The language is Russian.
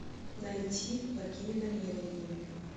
найти благими намерениями